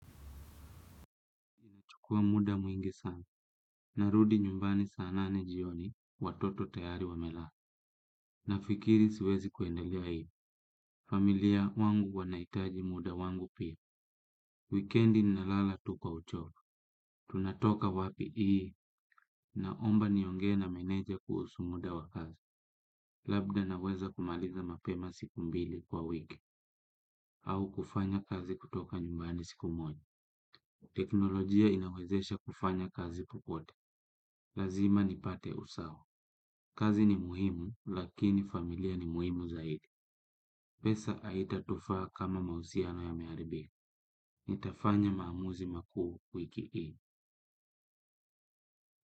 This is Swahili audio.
Chukua muda mwingi sana. Narudi nyumbani saa nane jioni watoto tayari wamela. Na fikiri siwezi kuendalea hivj. Familia wangu wanahitaji muda wangu pia. Weekendi nalala tu kwa uchoro. Tunatoka wapi hii. Naomba ni ongee na meneja kuhusu muda wa kazi. Labda naweza kumaliza mapema siku mbili kwa wiki. Au kufanya kazi kutoka nyumbani siku moja. Teknolojia inawezesha kufanya kazi popote. Lazima nipate usawa. Kazi ni muhimu lakini familia ni muhimu zaidi. Pesa haita tufaa kama mahusiano yameharibi. Nitafanya maamuzi makuu wiki hii.